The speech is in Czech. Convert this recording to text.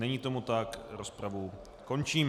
Není tomu tak, rozpravu končím.